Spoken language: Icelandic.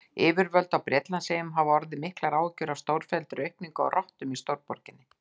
Yfirvöld á Bretlandseyjum hafa orðið miklar áhyggjur af stórfelldri aukningu á rottum í stórborgum.